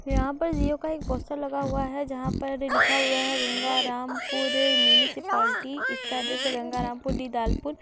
यहां पर जियो का एक पोस्टर लगा हुआ है। जहां पर लिखा हुआ है गंगारामपुर मुंसिपालती । इसका अडड्रेस है गंगारामपुर दीदाल्पुर --